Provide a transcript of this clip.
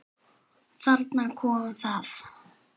Þarna kom það.